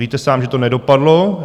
Víte sám, že to nedopadlo.